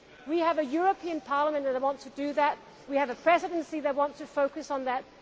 We have a European Parliament that wants to do that and we have a Presidency that wants to focus on that.